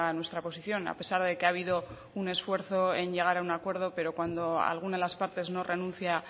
nuestra posición a pesar de que ha habido un esfuerzo en llegar a un acuerdo pero cuando alguna de las partes no renuncia